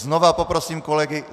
Znova poprosím kolegy.